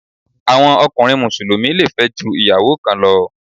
Àwọn ọkùnrin Mùsùlùmí le fẹ́ ju ìyàwó kan lọ.